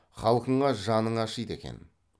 халқыңа жаның ашиды екен